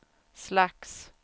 slags